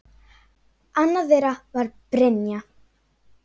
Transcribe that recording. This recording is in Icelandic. Annað þeirra var Brynja.